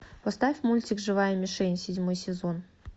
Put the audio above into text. поставь мультик живая мишень седьмой сезон